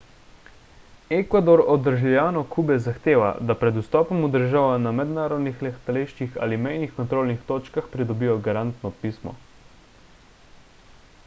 ekvador od državljanov kube zahteva da pred vstopom v državo na mednarodnih letališčih ali mejnih kontrolnih točkah pridobijo garantno pismo